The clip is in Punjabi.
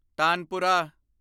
ਤਾਨਪੁਰਾ